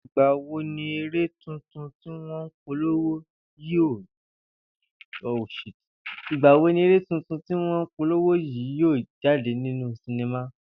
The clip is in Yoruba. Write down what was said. Ìgbà wo ni eré tuntun tí wó̩n n polowo yìí yóò jáde ní sinima?